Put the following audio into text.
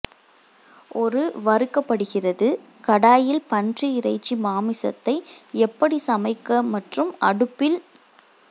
ஒரு வறுக்கப்படுகிறது கடாயில் பன்றி இறைச்சி மாமிசத்தை எப்படி சமைக்க மற்றும் அடுப்பில்